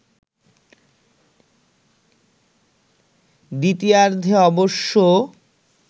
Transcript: দ্বিতীয়ার্ধে অবশ্য